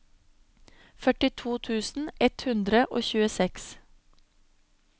førtito tusen ett hundre og tjueseks